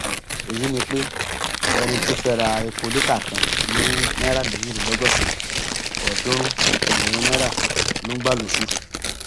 èyí ni pé ẹni tó fẹẹ ra epo lítà kan ní náírà méjìdínlọgọsànán ọọdúnrún ẹgbẹrún náírà ló ń gbà lóṣù